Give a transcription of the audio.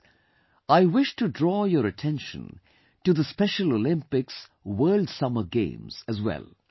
Friends, I wish to draw your attention to the Special Olympics World Summer Games, as well